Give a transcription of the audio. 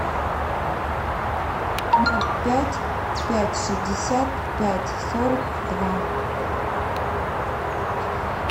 ноль пять пять шестьдесят пять сорок два